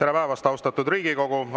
Tere päevast, austatud Riigikogu!